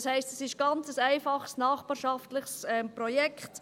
Das heisst, es ist ein ganz einfaches nachbarschaftliches Projekt.